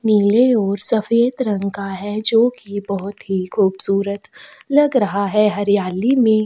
नीले और सफेद रंग का है जो की बहुत ही खूबसूरत लग रहा है हरियाली में --